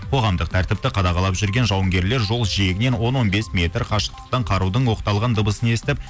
қоғамдық тәртіпті қадағалап жүрген жауынгерлер жол жиегінен он он бес метр қашықтықтан қарудың оқталған дыбысын естіп